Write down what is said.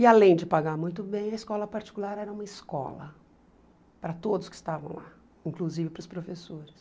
E além de pagar muito bem, a escola particular era uma escola para todos que estavam lá, inclusive para os professores.